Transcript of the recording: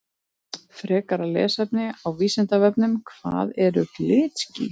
Frekara lesefni á Vísindavefnum Hvað eru glitský?